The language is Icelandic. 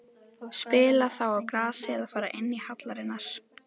Spila þá á grasi eða fara inn í hallirnar?